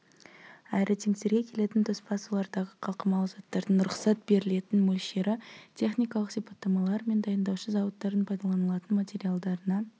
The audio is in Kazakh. аэротенктерге келетін тоспа сулардағы қалқымалы заттардың рұқсат берілетін мөлшері техникалық сипаттамалар мен дайындаушы зауыттардың пайдаланылатын материалдарына